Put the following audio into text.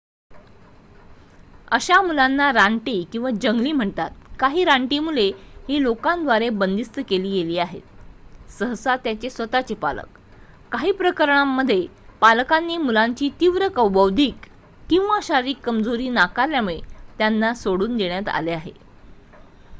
"अशा मुलांना "रानटी" किंवा जंगली म्हणतात. काही रानटी मुले ही लोकांद्वारे बंदिस्त केली गेली आहेत सहसा त्यांचे स्वतःचे पालक; काहीप्रकरणांमध्ये पालकांनी मुलाची तीव्र बौद्धिक किंवा शारीरिक कमजोरी नाकारल्यामुळे त्यांना सोडून देण्यात आले आहे.